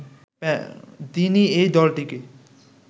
তিনি এই দলটিকে